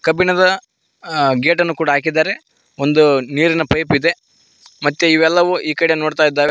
ಕಬ್ಬಿಣದ ಆ ಗೇಟ್ ಅನ್ನು ಕೂಡ ಹಾಕಿದ್ದಾರೆ ಒಂದು ನೀರಿನ ಪೈಪ್ ಇದೆ ಮತ್ತೆ ಇವೆಲ್ಲವೂ ಈ ಕಡೆ ನೋಡ್ತಾ ಇದ್ದಾವೆ.